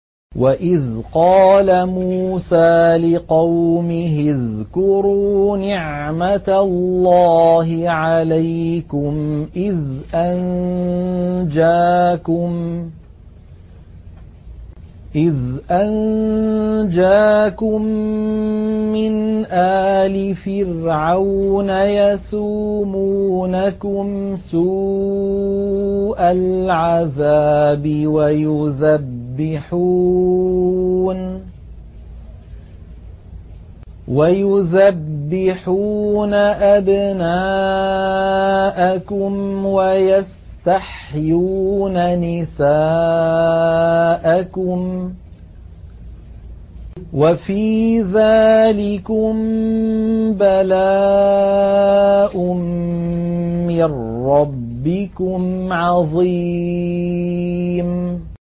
وَإِذْ قَالَ مُوسَىٰ لِقَوْمِهِ اذْكُرُوا نِعْمَةَ اللَّهِ عَلَيْكُمْ إِذْ أَنجَاكُم مِّنْ آلِ فِرْعَوْنَ يَسُومُونَكُمْ سُوءَ الْعَذَابِ وَيُذَبِّحُونَ أَبْنَاءَكُمْ وَيَسْتَحْيُونَ نِسَاءَكُمْ ۚ وَفِي ذَٰلِكُم بَلَاءٌ مِّن رَّبِّكُمْ عَظِيمٌ